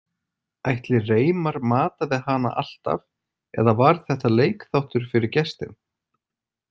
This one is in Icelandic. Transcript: Ætli Reimar mataði hana alltaf eða var þetta leikþáttur fyrir gestinn?